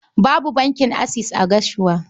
Babu bankin Akses a Gashua.